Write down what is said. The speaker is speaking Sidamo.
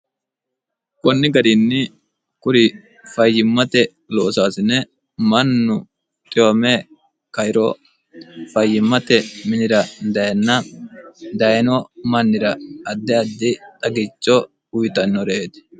konni garinni kuri fayyimmate loosaasine mannu xiwame kairo fayyimmate minira dayinna dayino mannira addi addi xagicho uyitannoreeti